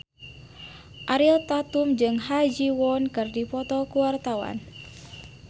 Ariel Tatum jeung Ha Ji Won keur dipoto ku wartawan